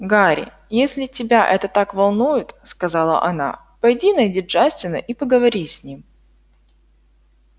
гарри если тебя это так волнует сказала она пойди найди джастина и поговори с ним